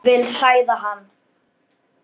Vil hræða hann.